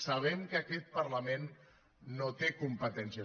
sabem que aquest parlament no té competències